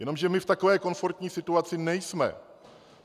Jenomže my v takové komfortní situaci nejsme.